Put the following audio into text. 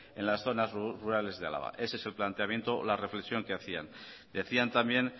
en las zonas rurales de álava ese es el planteamiento o la reflexión que hacían decían también